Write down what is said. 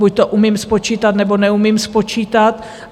Buď to umím spočítat, nebo neumím spočítat.